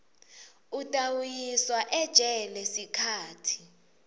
utawuyiswa ejele sikhatsi